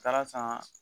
Taara san